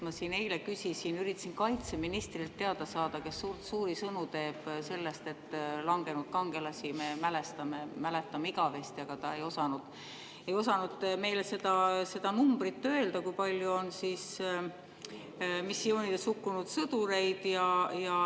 Ma siin eile küsisin ja üritasin teada saada kaitseministrilt, kes teeb suuri sõnu sellest, et me langenud kangelasi mälestame ja mäletame igavesti, aga ta ei osanud meile öelda seda numbrit, kui palju on missioonidel hukkunud sõdureid.